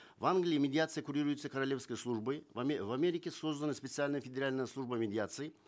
в англии медиация курируется королевской службой в америке создана специальная федеральная служба медиации